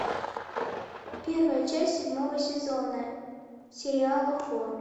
первая часть седьмого сезона сериала хор